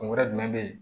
Kun wɛrɛ jumɛn bɛ ye